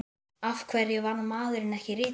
Af hverju varð maðurinn ekki rithöfundur?